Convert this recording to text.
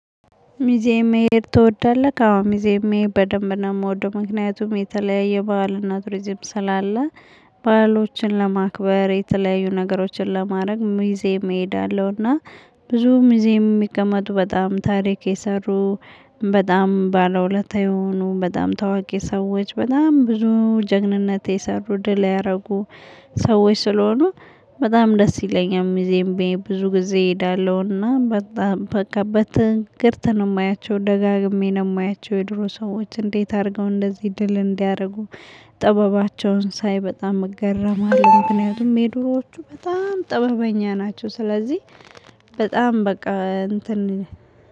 ሚዜ መሄድ ትወዳለህ አዎ ሚዜ መሄድ በደንብ ነው የምወደው ምክንያቱም የተለያየ ባህልና ትሩዚም ስላለ። ባሎችን ለማክበር የተለያዩ ነገሮችን ለማድረግ ሚዜ እሄዳለሁና። ብዙ ሙዚየም የሚቀመጡ በጣም ታሪክ የሰሩ በጣም ባለውለታ የሆኑ በጣም ታዋቂ ሰዎች በጣም ብዙ ጀግንነት የሰሩ ድል ያደረጉ ሰዎች ስለሆኑ። በጣም ደስ ይለኛል። ሙዚየም ብዬ ብዙ ጊዜ እሄዳለሁና። በጣም በቃ በትንክርት ነው የማያቸው ደጋግሜ ነው የማያቸው። የድሮ ሰዎች እንዴት አድርገው እንደዚህ ድል እንዲያደርጉ። ጥበባቸውን በጣም እገረማለሁ። ምክንያቱም የድሮዎቹ በጣም ጥበበኛ ናቸው። ስለዚህ በጣም በቃ እንትን